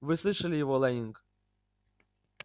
вы слышали его лэннинг